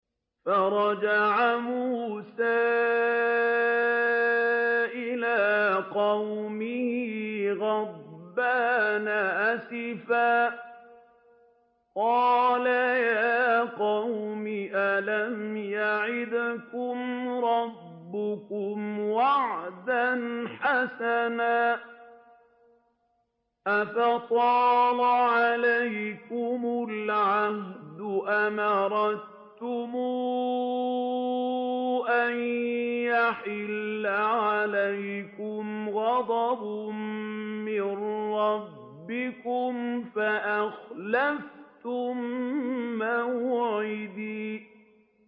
فَرَجَعَ مُوسَىٰ إِلَىٰ قَوْمِهِ غَضْبَانَ أَسِفًا ۚ قَالَ يَا قَوْمِ أَلَمْ يَعِدْكُمْ رَبُّكُمْ وَعْدًا حَسَنًا ۚ أَفَطَالَ عَلَيْكُمُ الْعَهْدُ أَمْ أَرَدتُّمْ أَن يَحِلَّ عَلَيْكُمْ غَضَبٌ مِّن رَّبِّكُمْ فَأَخْلَفْتُم مَّوْعِدِي